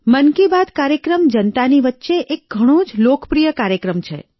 મન કી બાત કાર્યક્રમ જનતાની વચ્ચે એક ઘણો જ લોકપ્રિય કાર્યક્રમ છે